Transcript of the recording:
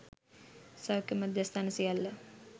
සෞඛ්‍ය මධ්‍යස්ථාන සියල්ල